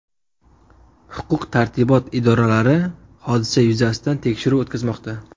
Huquq-tartibot idoralari hodisa yuzasidan tekshiruv o‘tkazmoqda.